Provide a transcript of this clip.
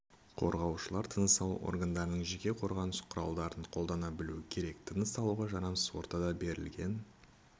қорғаушылар тыныс алу органдарының жеке қорғаныс құралдарын қолдана білу керек тыныс алуға жарамсыз ортада берілген